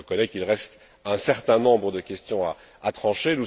Je reconnais qu'il reste un certain nombre de questions à trancher.